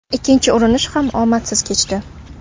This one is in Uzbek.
Ikkinchi urinish ham omadsiz kechdi.